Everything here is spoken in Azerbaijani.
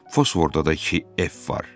fosforda da iki F var.